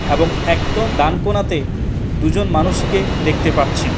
এবং একদম ডান কোনাতে দুজন মানুষকে দেখতে পাচ্ছি।